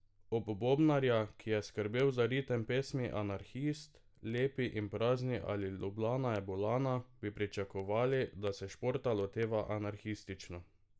Ob bobnarja, ki je skrbel za ritem pesmi Anarhist, Lepi in prazni ali Lublana je bulana, bi pričakovali, da se športa loteva anarhistično.